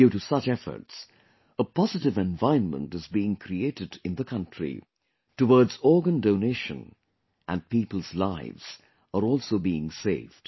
Due to such efforts, a positive environment is being created in the country towards organ donation and people's lives are also being saved